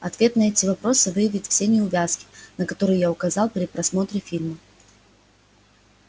ответ на эти вопросы выявит все неувязки на которые я указал при просмотре фильма